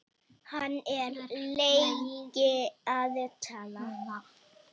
Hann er lengi að tala.